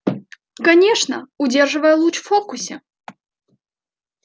конечно удерживая луч в фокусе